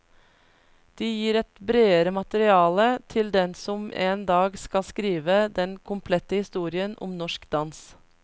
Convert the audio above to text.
De gir et bredere materiale til den som en dag skal skrive den komplette historien om norsk dans.